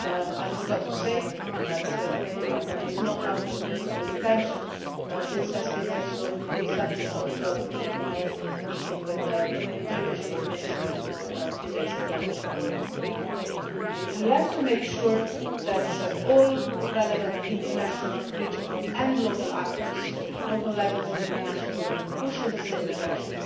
I forgot to say, but that was not out of any political intention, that this was also a subject of my meeting with the Turkish Foreign Minister a few days ago in Riga. We have to make sure that all relevant international, regional and local actors local level, national level push in the same direction.